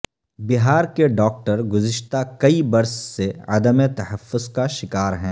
بہار کے ڈاکٹر گزشتہ کئی برس سے عدم تحفظ کا شکار ہیں